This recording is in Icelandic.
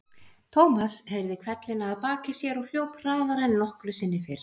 Thomas heyrði hvellina að baki sér og hljóp hraðar en nokkru sinni fyrr.